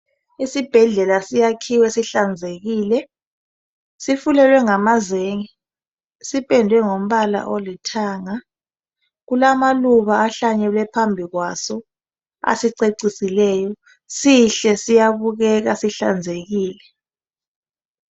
Isibhedlela siyakhiwe sihlanzekile, sifulelwe ngamazenge sipendwe ngombala olithanga kulamaluba ahlanyelwe phambi kwaso asicecisileyo. Sihle siyabukeka sihlanzekile.